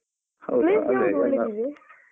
ಹೌದಾ